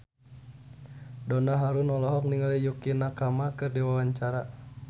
Donna Harun olohok ningali Yukie Nakama keur diwawancara